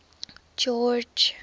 george